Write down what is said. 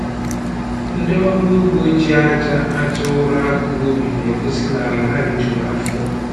Ndị ọrụ ugbo ji aja aja ụrọ akọ ubi na-egosi n'ala ha rijuru afọ